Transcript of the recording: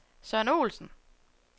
Søren Olsen